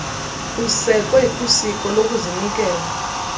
usekwe kwisiko sokuzinikela